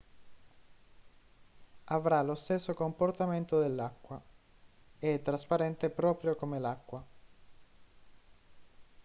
avrà lo stesso comportamento dell'acqua è trasparente proprio come l'acqua